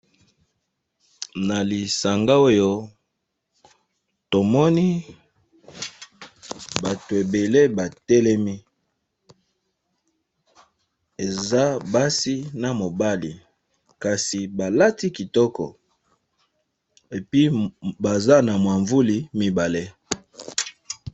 Nalisanga Oyo tomoni batu ebele batelemi bakati Kitoko épuisé baza n'aba mwavuli ebele